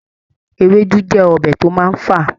Ewédú jẹ́ ọbẹ̀ tó máa ń fà